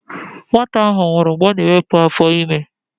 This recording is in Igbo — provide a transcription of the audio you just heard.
Nwata ahụ nwụrụ mgbe ọ na-ewepụ afọ ime ya.